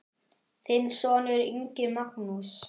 Þinn sonur, Ingi Magnús.